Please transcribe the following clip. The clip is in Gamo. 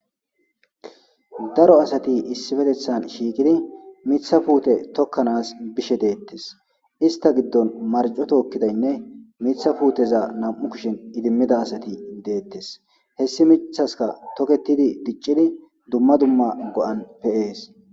Daro asati issifetethan shiikidi mitha puute tokkanas bishe deettes ista giddon marco tookkidaynne mitha puuteza nam'u kishen idimmida asati deettes hessi mithaska toketidi diccidi dumma dumma go'an peyees.